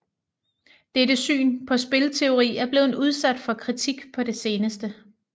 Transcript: Dette syn på spilteori er blevet udsat for kritik på det seneste